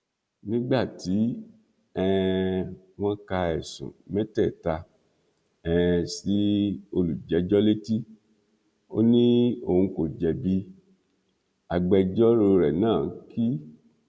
nígbà tí um wọn ka ẹsùn mẹtẹẹta um sí olùjẹjọ létí ó ní òun kò jẹbi agbẹjọrò rẹ náà k